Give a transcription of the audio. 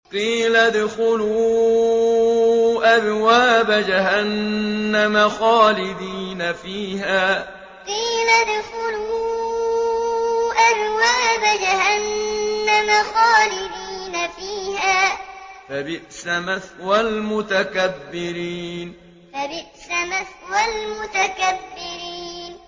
قِيلَ ادْخُلُوا أَبْوَابَ جَهَنَّمَ خَالِدِينَ فِيهَا ۖ فَبِئْسَ مَثْوَى الْمُتَكَبِّرِينَ قِيلَ ادْخُلُوا أَبْوَابَ جَهَنَّمَ خَالِدِينَ فِيهَا ۖ فَبِئْسَ مَثْوَى الْمُتَكَبِّرِينَ